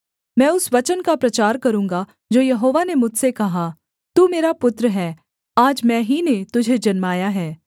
मैं उस वचन का प्रचार करूँगा जो यहोवा ने मुझसे कहा तू मेरा पुत्र है आज मैं ही ने तुझे जन्माया है